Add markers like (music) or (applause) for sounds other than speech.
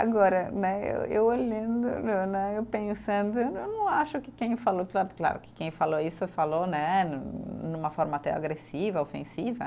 Agora né, eu eu olhando né, eu pensando, eu não não acho que quem falou (unintelligible) é claro que quem falou isso falou né num numa forma até agressiva, ofensiva.